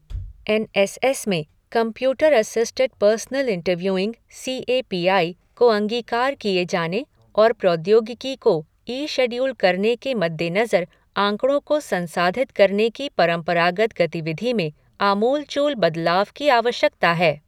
N S S में computer assisted personal interviewing C A P I को अंगीकार किये जाने और प्रौद्योगिकी को ई शेडयूल करने के मद्देनजर आंकड़ों को संसाधित करने की परम्परागत गतिविधि में आमूलचूल बदलाव की आवश्यकता है।